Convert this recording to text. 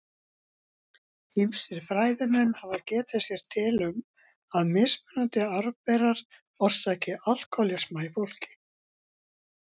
Ýmsir fræðimenn hafa getið sér til um að mismunandi arfberar orsaki alkóhólisma í fólki.